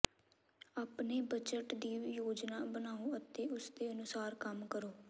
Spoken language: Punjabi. ਆਪਣੇ ਬਜਟ ਦੀ ਯੋਜਨਾ ਬਣਾਓ ਅਤੇ ਉਸ ਅਨੁਸਾਰ ਕੰਮ ਕਰੋ